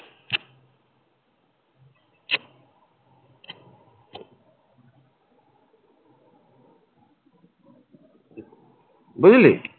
বুঝলি?